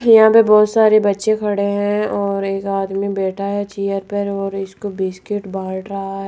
यहां पे बहोत सारे बच्चे खड़े हैं और एक आदमी बैठा है चेयर पर और इसको बिस्किट बांट रहा है।